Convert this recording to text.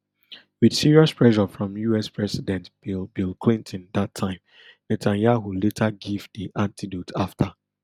wit serious pressure from us president bill bill clinton dat time netanyahu later give di antidote afta